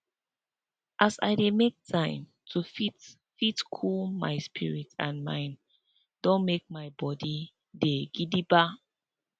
as i dey make time to fit fit cool my spirit and mind don make my body dey gidigba